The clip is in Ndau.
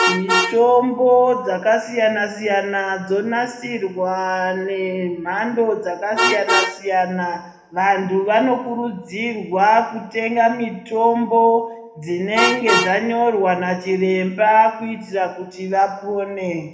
Mitombo dzakasiyana siyana dzonadirwa nemhando dzakasiyana siyana vanhu vanokurudzirwa kutenga mutombo dzinenge dzanyorwa nachiremba kuitire kuti vapone.